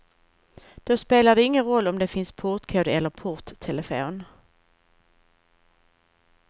Då spelar det ingen roll om det finns portkod eller porttelefon.